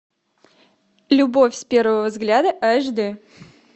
любовь с первого взгляда аш д